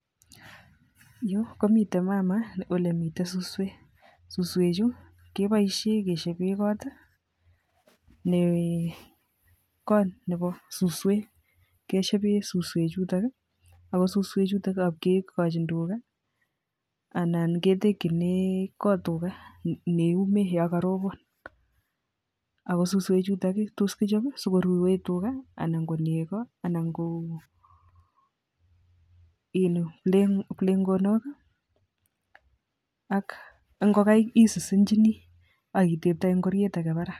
Yu komiten mama oemitei suswek. Suswek chu akeboishe keshebe kotnebo suswek. Ako suswechutok ,ngab kekochin tuka anan ketekchine kot tuka neyume yo karobon, Ako suswechutok kechobei sikoruwe tuka anan ko nego ana ko kiplengonok AK ingokaik Isisinjini AK itetoe ngoriet age Barak